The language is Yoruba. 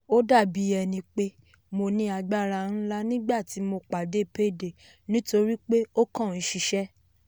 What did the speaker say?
ó dà bí ẹni pé mo ní agbára ńlá nígbà tí mo pàdé payday nítorí pé ó kàn ń ṣiṣẹ́.